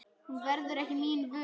Hún verður mín ekki vör.